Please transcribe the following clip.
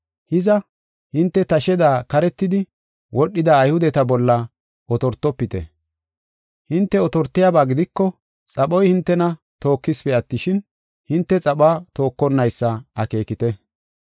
Hiza, hinte tasheda karetidi wodhida Ayhudeta bolla otortofite. Hinte otortiyaba gidiko, xaphoy hintena tookesipe attishin, hinte xaphuwa tookonnaysa akeekite.